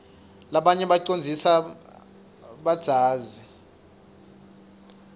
rabanye bacondzlsa badzazi